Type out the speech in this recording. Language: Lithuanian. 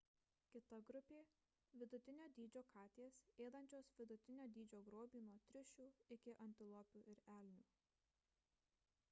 kita grupė – vidutinio dydžio katės ėdančios vidutinio dydžio grobį nuo triušių iki antilopių ir elnių